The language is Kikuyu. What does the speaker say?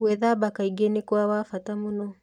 Gwĩthamba kaingĩ nĩ kwa wa bata mũno.